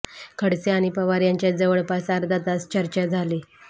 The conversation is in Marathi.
खडसे आणि पवार यांच्यात जवळपास अर्धा तास चर्चा झाली